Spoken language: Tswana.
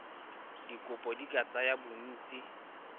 dikopo di ka tsaya bontsi